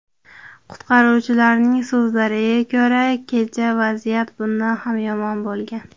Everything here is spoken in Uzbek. Qutqaruvchilarning so‘zlariga ko‘ra, kecha vaziyat bundan ham yomon bo‘lgan.